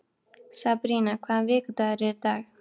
Sabrína, hvaða vikudagur er í dag?